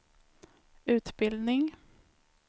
utbildning